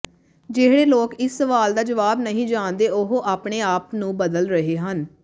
ਜਿਹੜੇ ਲੋਕ ਇਸ ਸਵਾਲ ਦਾ ਜਵਾਬ ਨਹੀਂ ਜਾਣਦੇ ਉਹ ਆਪਣੇ ਆਪ ਨੂੰ ਬਦਲ ਰਹੇ ਹਨ